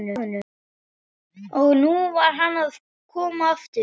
Og nú var hann að koma aftur!